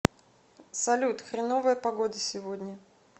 салют хреновая погода сегодня